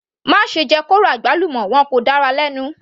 Má ṣe jẹ kóró àgbálùmọ́, wọn kò dára lẹ́nu.